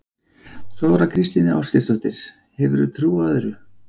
Þóra Kristín Ásgeirsdóttir: Hefurðu trú á öðru?